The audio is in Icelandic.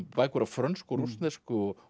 bækur á frönsku og rússnesku og